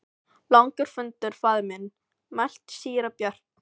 Langur fundur faðir minn, mælti síra Björn.